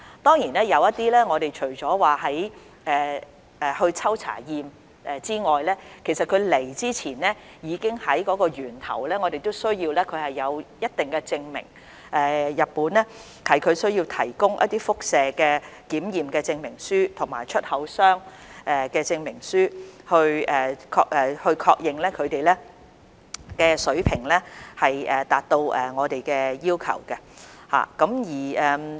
當然，我們除了抽查及檢驗食品外，其實有些食品在進入香港前，我們還需要日本提供一定的證明，例如輻射檢測證明書及出口商證明書，以確認食品水平達到我們的要求。